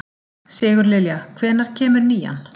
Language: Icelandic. Sigurlilja, hvenær kemur nían?